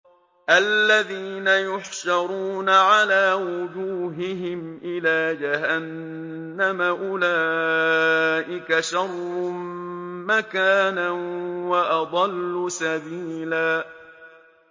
الَّذِينَ يُحْشَرُونَ عَلَىٰ وُجُوهِهِمْ إِلَىٰ جَهَنَّمَ أُولَٰئِكَ شَرٌّ مَّكَانًا وَأَضَلُّ سَبِيلًا